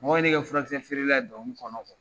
Mɔgɔw ye ne kɛ furakisɛfeerela ye kɔnɔ